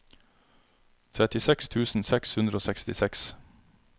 trettiseks tusen seks hundre og sekstiseks